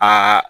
Aa